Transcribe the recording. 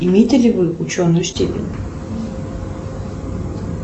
имеете ли вы ученую степень